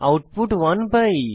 output 1 পাই